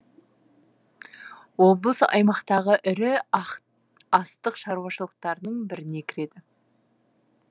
облыс аймақтағы ірі астық шаруашылықтарының біріне кіреді